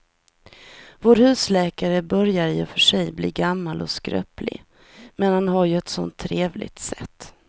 Vår husläkare börjar i och för sig bli gammal och skröplig, men han har ju ett sådant trevligt sätt!